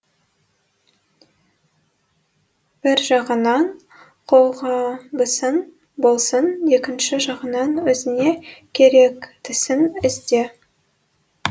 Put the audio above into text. бір жағынан қолғабысың болсын екінші жағынан өзіңе керектісін ізде